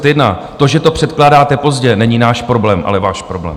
To, že to předkládáte pozdě, není náš problém, ale váš problém.